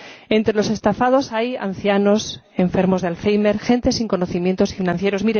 Entre los estafados hay ancianos, enfermos de Alzheimer, gente sin conocimientos financieros.